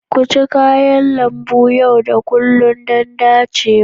Ku ci kayan lambu yau da kullun don dacewa.